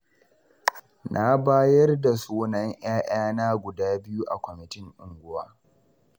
Na bayar da sunan 'ya'yana guda biyu a kwamatin unguwa.